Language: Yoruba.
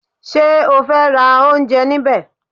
Ṣé o fẹ́ ra oúnjẹ níbẹ̀?